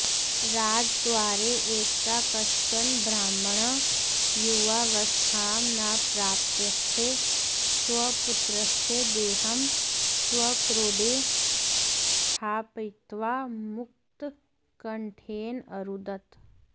राजद्वारे एकदा कश्चन ब्राह्मणः युवावस्थां न प्राप्तस्य स्वपुत्रस्य देहं स्वक्रोडे स्थापयित्वा मुक्तकण्ठेन अरुदत्